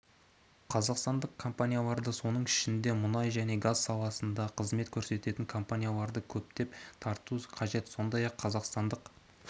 қазақстандық компанияларды соның ішінде мұнай және газ саласында қызмет көрсететін компанияларды көптеп тарту қажет сондай-ақ қазақстандық